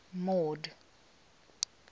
mord